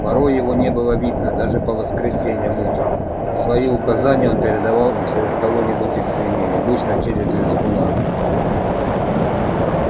порой его не было видно даже по воскресеньям утром а свои указания он передавал через кого-нибудь из свиней обычно через визгуна